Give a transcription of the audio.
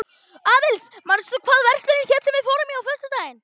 Aðils, manstu hvað verslunin hét sem við fórum í á föstudaginn?